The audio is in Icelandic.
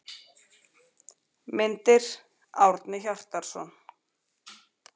Myndir: Árni Hjartarson.